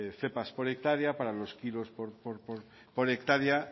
cepas por hectárea para los kilos por hectárea